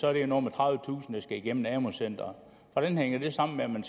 er det noget med tredivetusind der skal igennem amu centrene hvordan hænger det sammen med at man